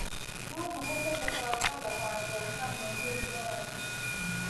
No tũhote gũbanga thabarĩ ya hamwe mũthia wa wiki.